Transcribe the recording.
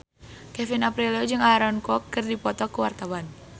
Kevin Aprilio jeung Aaron Kwok keur dipoto ku wartawan